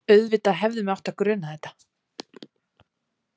Auðvitað hefði mig átt að gruna þetta.